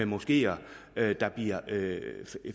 moskeer der bliver